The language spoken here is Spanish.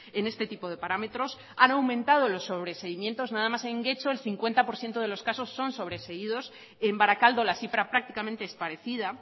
en este tipo de parámetros han aumentado los sobreseimientos nada más en getxo el cincuenta por ciento de los casos son sobreseídos y en barakaldo la cifra prácticamente es parecida